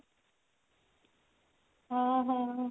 ଓ ହୋ